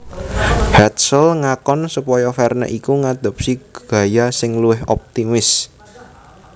Hetzel ngakon supaya Verne iku ngadopsi gaya sing luwih optimis